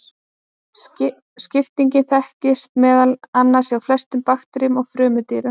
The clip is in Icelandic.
Skipting þekkist meðal annars hjá flestum bakteríum og frumdýrum.